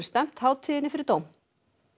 stefnt hátíðinni fyrir dómstóla